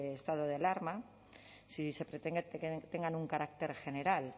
estado de alarma si se pretende que tengan un carácter general